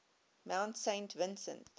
mount saint vincent